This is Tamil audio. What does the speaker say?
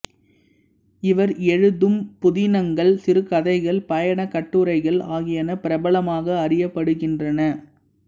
இவர் எழுதும் புதினங்கள் சிறுகதைகள் பயணக் கட்டுரைகள் ஆகியன பிரபலமாக அறியப்படுகின்றன